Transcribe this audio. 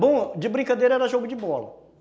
Bom, de brincadeira era jogo de bola.